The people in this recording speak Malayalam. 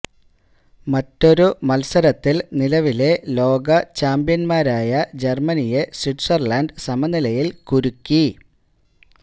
മറ്റൊരു മത്സരത്തില് നിലവിലെ ലോക ചാമ്പ്യന്മാരായ ജര്മനി യെ സ്വിറ്റ്സര്ലന്ഡ് സമനിലയില് കുരുക്കി